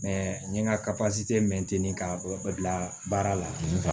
n ye n ka mɛnteni ka bɔ bila baara la